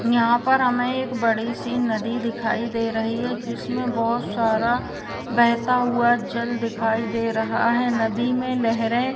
यहाँ पर हमें एक बड़ी सी नदी दिखाई दे रही है जिसमें बहोत सारा बहता हुआ जल दिखाई दे रहा है। नदी में लहरें --